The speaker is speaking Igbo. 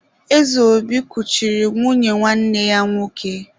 Ezeobi kuchiri nwunye nwanne ya nwoke.